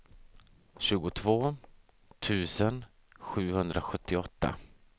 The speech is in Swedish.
tjugotvå tusen sjuhundrasjuttioåtta